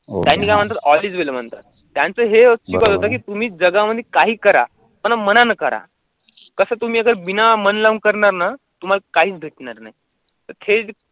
त्यांनी काय म्हणतात all is well त्यांचे हे होतं, कि तुम्ही जगामध्ये काहीही करा पण मनानं करा, कसं तुम्ही अगर बिना मन लावून करणार ना, तुम्हाला काहीच भेटणार नाही, तर